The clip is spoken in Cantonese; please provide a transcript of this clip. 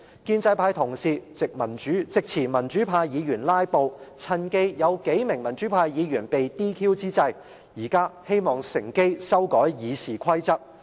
建制派同事藉詞民主派議員"拉布"，趁有數名民主派議員被 DQ 之際，乘機修改《議事規則》。